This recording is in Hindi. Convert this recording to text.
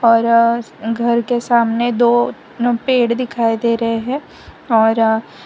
और घर के सामने दो नू पेड़ दिखाई दे रहे हैं और--